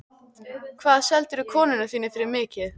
Hvað seldirðu konuna þína fyrir mikið?